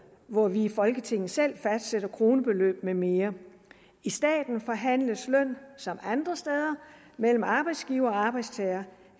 hvor vi i folketinget selv fastsætter kronebeløb med mere i staten forhandles løn som andre steder mellem arbejdsgiver og arbejdstager